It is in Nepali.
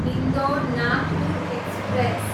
इन्दौर, नागपुर एक्सप्रेस